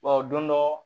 don dɔ